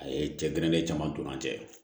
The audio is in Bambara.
A ye cɛ gɛrɛlen caman don an cɛ